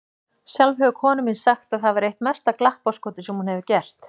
Sjálf hefur konan mín sagt að það væri eitt mesta glappaskotið sem hún hefur gert.